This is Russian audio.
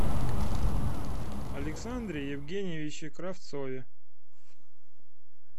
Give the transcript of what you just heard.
александре евгеньевиче кравцове